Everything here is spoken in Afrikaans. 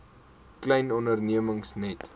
klein ondernemings net